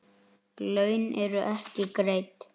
Laun eru ekki greidd.